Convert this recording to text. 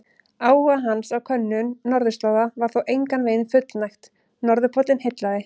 Áhuga hans á könnun norðurslóða var þó engan veginn fullnægt, norðurpóllinn heillaði.